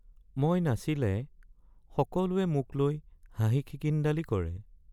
মই নাচিলে সকলোৱে মোক লৈ হাঁহি খিকিন্দালি কৰে।